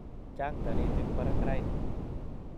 Chang' taritik parak raini